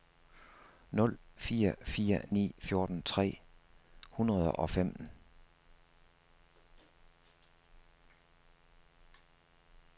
nul fire fire ni fjorten tre hundrede og femten